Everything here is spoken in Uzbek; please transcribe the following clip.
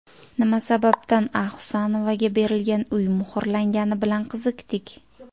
Nima sababdan A. Hasanovaga berilgan uy muhrlangani bilan qiziqdik.